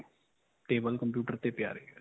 Table computer ਤੇ ਪਿਆ ਰਹੇਗਾ ਜੀ.